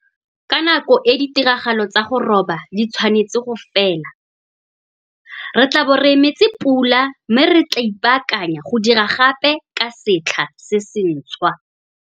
Ka nako e ditiragalo tsa go roba di tshwanetse go fela. Re tlaabo re emetse pula mme re tlaa ipaakanya go dira gape ka setlha se sentshwa.